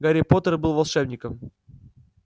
гарри поттер был волшебником